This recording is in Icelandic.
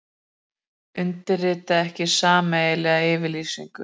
Undirrita ekki sameiginlega yfirlýsingu